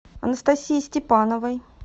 анастасии степановой